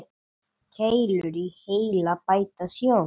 Keilur í heila bæta sjón.